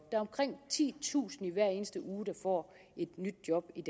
er omkring titusind hver eneste uge der får et nyt job i